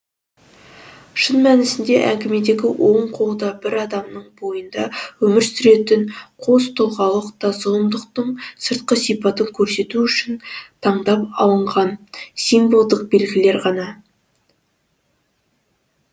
шын мәнісінде әңгімедегі оң қол да бір адамның бойында өмір сүретін қостұлғалық та зұлымдықтың сыртқы сипатын көрсету үшін таңдап алынған символдық белгілер ғана